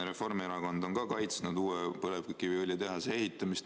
Reformierakond on kaitsnud uue põlevkiviõlitehase ehitamist.